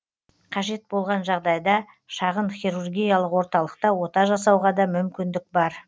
қажет болған жағдайда шағын хирургиялық орталықта ота жасауға да мүмкіндік бар